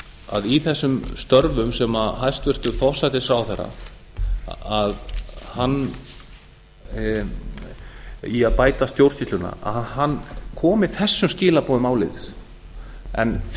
að í þessum störfum sem hæstvirtur forsætisráðherra í að bæta stjórnsýsluna að hann komi þessum skilaboðum áleiðis því